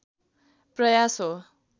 प्रयास हो